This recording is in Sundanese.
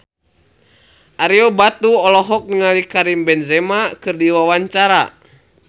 Ario Batu olohok ningali Karim Benzema keur diwawancara